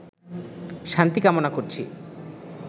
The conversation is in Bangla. শান্তি কামনা করছি